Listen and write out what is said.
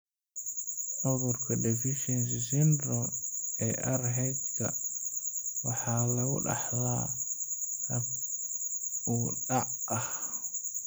Cudurka Deficiency Syndrome ee Rh-ga waxa lagu dhaxlaa hab dib u dhac ah.